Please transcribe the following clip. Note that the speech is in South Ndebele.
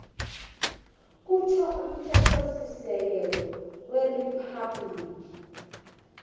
kutjho umthethosisekelo weriphabhligi